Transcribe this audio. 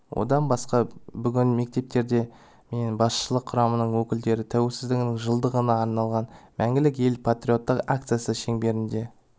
одан басқа бүгін мектептерде мен басшылық құрамының өкілдері тәуелсіздігінің жылдығына арналған мәңгілік ел патриоттық акциясы шеңберінде